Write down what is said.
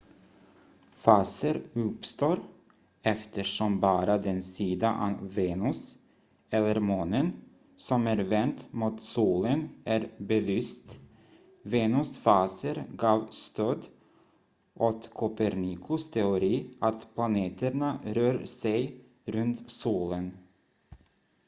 faser uppstår eftersom bara den sida av venus eller månen som är vänd mot solen är belyst. venus faser gav stöd åt kopernikus teori att planeterna rör sig runt solen